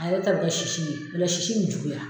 A yɛrɛ ta bɛ kɛ sisi ye , o la sisi be juguya